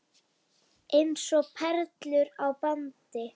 Eins og perlur á bandi.